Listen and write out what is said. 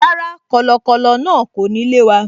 Rárá, kọ̀lọ̀kọ̀lọ̀ náà kò ní lé wa